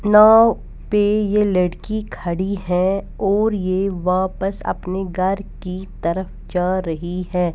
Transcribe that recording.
नाव पे ये लड़की खड़ी है और ये वापस अपने घर की तरफ जा रही है.